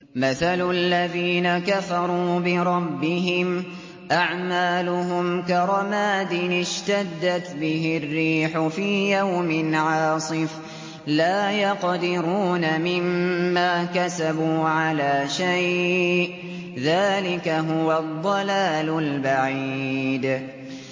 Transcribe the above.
مَّثَلُ الَّذِينَ كَفَرُوا بِرَبِّهِمْ ۖ أَعْمَالُهُمْ كَرَمَادٍ اشْتَدَّتْ بِهِ الرِّيحُ فِي يَوْمٍ عَاصِفٍ ۖ لَّا يَقْدِرُونَ مِمَّا كَسَبُوا عَلَىٰ شَيْءٍ ۚ ذَٰلِكَ هُوَ الضَّلَالُ الْبَعِيدُ